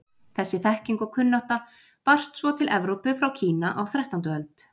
Þessi þekking og kunnátta barst svo til Evrópu frá Kína á þrettándu öld.